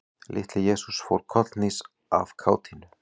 Litli-Jesús fór kollhnís af kátínu.